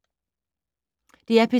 DR P2